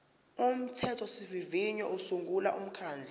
umthethosivivinyo usungula umkhandlu